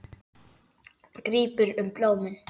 Grípur um blómin.